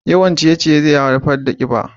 Yawan ciye-ciye zai haifar da kiba.